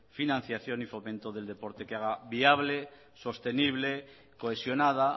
financiación y fomento del deporte que haga viable sostenible cohesionada